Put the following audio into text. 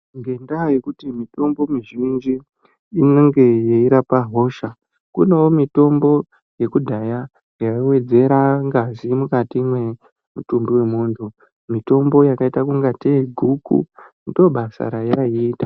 Ngenda yekuti mutombo mizhinji inenga yeirapa hosha kunewo mitombo yekudhaya yaiwedzera ngazi mukati wemutumbi wemuntu mutombo yakaita ungateyi guku ndobasa reyayi ita